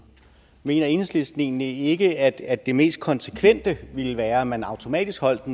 mener enhedslisten så egentlig ikke at det mest konsekvente ville være at man automatisk afholdt